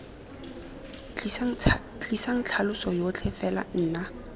tlisang tlhaloso yotlhe fela nna